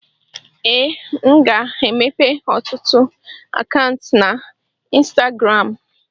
ee, m ga-emepe ọtụtụ akaụntụ na ịnstagram